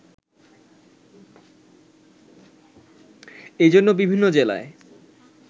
এজন্যে বিভিন্ন জেলায়